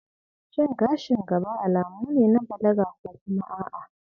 Shin gashin gaba alamu ne na balaga ko kuma a'a?